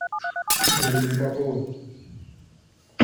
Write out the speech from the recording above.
галины поповой